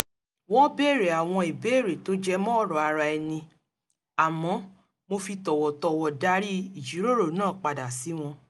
wọ́n béèrè àwọn ìbéèrè tó jẹ mọ́ ọ̀rọ̀ ara ẹni àmọ́ mo fi tọ̀wọ̀tọ̀wọ̀ darí ìjíròrò náà padà sí wọn